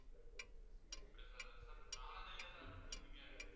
இல்ல sir sir நாலாந்தேதியா sir order பண்ணிருக்கிங்க?